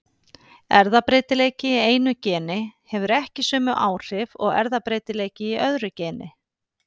Erfðabreytileiki í einu geni hefur ekki sömu áhrif og erfðabreytileiki í öðru geni.